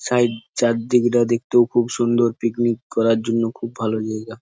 Side চারদিকটা দেখতে খুব সুন্দর পিকনিক করার জন্য খুব ভালো জায়গা।